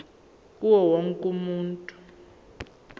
kuwo wonke umuntu